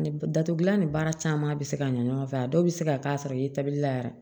Datugulan ni baara caman bɛ se ka ɲɛ ɲɔgɔn fɛ a dɔw bɛ se ka k'a sɔrɔ i ye tabili la yan